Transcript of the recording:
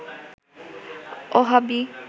Wahhabi